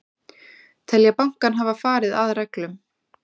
Telja bankann hafa farið að reglum